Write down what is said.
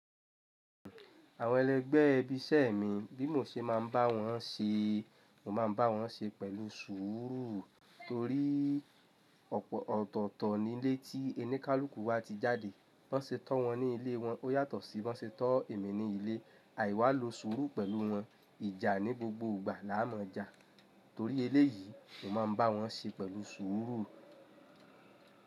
Àwọn ẹlẹgbẹ́ ibi iṣẹ́ mi, bí mo ṣe máa ń bá wọn ṣe, mo máa ń bá wọn ṣe pẹ̀lú sùúrù torí ọ̀pọ̀ ọ̀tọ̀ọ̀tọ̀ ni lé tí ẹni kálùkù wa ti jáde. Bi wọ́n ṣe to wọn ní ilé wọn ó yàtọ̀ sí wọ́n ṣe to èmi ní ilé, àìwá lo sùúrù pẹ̀lú wọn, ìjà ní gbogbo ìgbà láà mo ja. Torí eléyìí, mo máa ń bá wọn ṣe pẹ̀lú sùúrù.